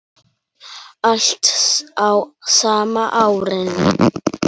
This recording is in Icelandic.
Allt á sama árinu.